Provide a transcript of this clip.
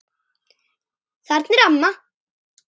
Þarna er amma!